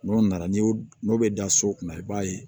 N'o nana n'i y'o n'o bɛ da so kunna i b'a ye